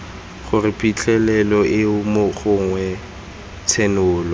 gore phitlhelelo eo gongwe tshenolo